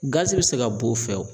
Gazi bɛ se ka b'o fɛ o.